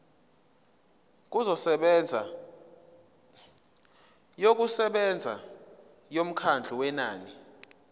yokusebenza yomkhawulo wenani